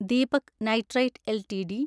Deepak nitrite LTD